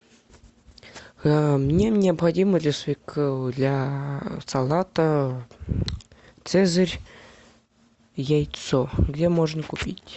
мне необходимо для салата цезарь яйцо где можно купить